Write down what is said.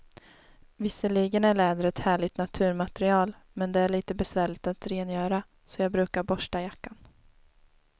Visserligen är läder ett härligt naturmaterial, men det är lite besvärligt att rengöra, så jag brukar borsta jackan.